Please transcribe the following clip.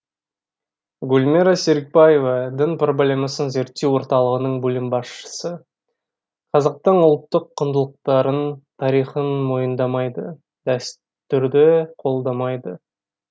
гүлмира серікбаева дін проблемасын зерттеу орталығының бөлім басшысы қазақтың ұлттық құндылықтарын тарихын мойындамайды дәстүрді қолдамайды